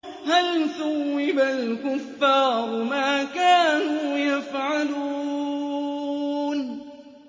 هَلْ ثُوِّبَ الْكُفَّارُ مَا كَانُوا يَفْعَلُونَ